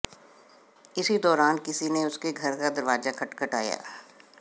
इसी दौरान किसी ने उसके घर का दरवाजा खटखटाया